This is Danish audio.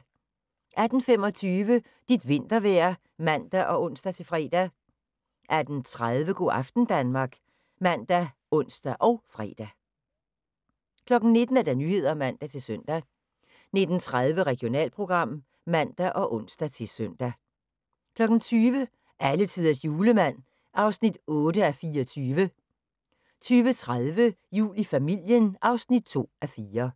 18:25: Dit vintervejr (man og ons-fre) 18:30: Go' aften Danmark ( man, ons, fre) 19:00: Nyhederne (man-søn) 19:30: Regionalprogram (man og ons-søn) 20:00: Alletiders Julemand (8:24) 20:30: Jul i familien (2:4)